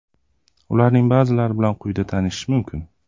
Ularning ba’zilari bilan quyida tanishish mumkin.